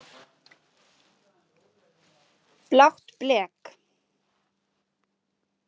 Blátt blek.